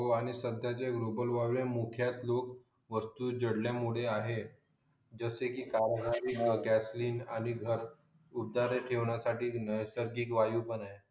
हो आणि सध्याचे ग्लोबल वॉर्मिंग मुख्या श्रोत वस्तू जडल्या मुळे आहेत जसं कि उज्जरे ठेवण्या साठी नैसर्गिक वायू पण आहे